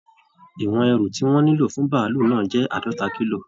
Ìwọ̀n ẹrù tí wọ́n nílò fún bàálù náà jẹ́ àádọ́ta kílò